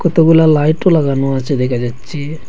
এতগুলা লাইটও লাগানো আছে দেখা যাচ্ছে।